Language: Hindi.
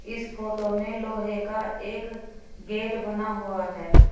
इस फोटो में लोहे का एक गेट बना हुआ है।